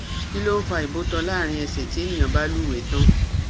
Kilon fa ibotan larin ese ti eniyan ba luwe tan